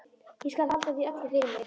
Ég skal halda því öllu fyrir mig.